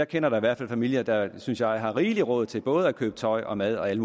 kender i hvert fald familier der synes jeg har rigeligt råd til både at købe tøj og mad og alle